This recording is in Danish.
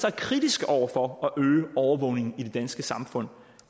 er kritiske over for at øge overvågningen i det danske samfund